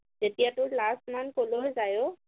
তেতিয়া তোৰ লাজ মান কলৈ যায় ঔ